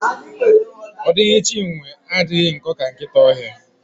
Ọ dịghị Chinwe adịghị nkọ ka nkịta ọhịa.